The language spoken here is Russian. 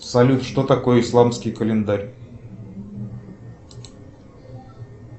салют что такое исламский календарь